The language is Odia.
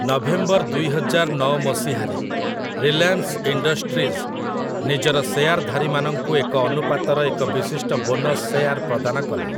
ନଭେମ୍ବର ଦୁଇହଜାର ନଅ ମସିହାରେ ରିଲାଏନ୍ସ ଇଣ୍ଡଷ୍ଟ୍ରିଜ୍ ନିଜର ଶେୟାର୍‌ଧାରୀମାନଙ୍କୁ ଏକ ଅନୁପାତର ଏକ ବିଶିଷ୍ଟ ବୋନସ୍ ଶେୟାର୍ ପ୍ରଦାନ କଲା ।